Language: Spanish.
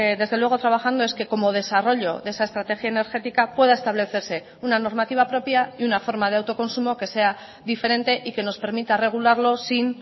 desde luego trabajando es que como desarrollo de esa estrategia energética pueda establecerse una normativa propia y una forma de autoconsumo que sea diferente y que nos permita regularlo sin